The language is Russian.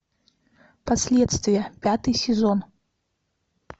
последствия пятый сезон